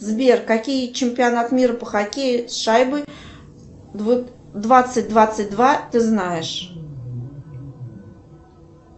сбер какие чемпионат мира по хоккею с шайбой двадцать двадцать два ты знаешь